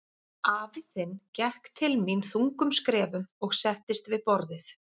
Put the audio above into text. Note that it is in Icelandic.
Afi þinn gekk til mín þungum skrefum og settist við borðið.